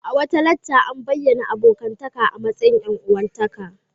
A wata lacca a bayyana abokantaka a matsayin ƴan-uwantaka.